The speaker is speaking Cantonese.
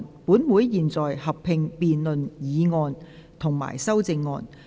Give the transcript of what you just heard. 本會現在合併辯論議案及修正案。